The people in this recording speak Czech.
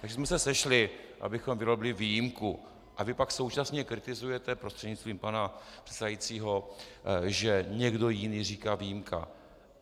Takže jsme se sešli, abychom vyrobili výjimku, a vy pak současně kritizujete, prostřednictvím pana předsedajícího, že někdo jiný říká výjimka.